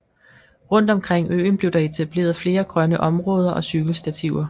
Rundt omkring øen blev der etableret flere grønne områder og cykelstativer